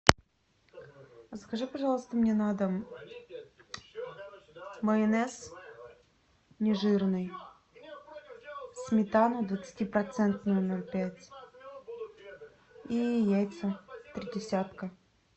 закажи пожалуйста мне на дом майонез не жирный сметану двадцатипроцентную ноль пять и яйца три десятка